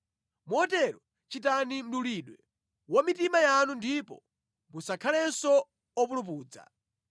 Motero chitani mdulidwe wa mitima yanu ndipo musakhalenso opulupudza.